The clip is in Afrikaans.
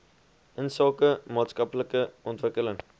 insake maatskaplike ontwikkeling